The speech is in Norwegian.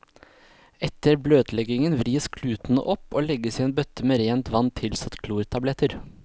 Etter bløtleggingen vris klutene opp og legges i en bøtte med rent vann tilsatt klortabletter.